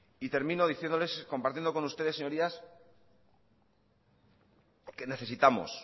y termino diciéndoles compartiendo con ustedes señorías que necesitamos